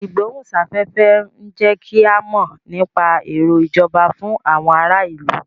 Ìgbóhùn sáfẹ́fẹ́ ń jẹ́ kí a mọ nípa èrò ìjọba fún àwọn ará ìlú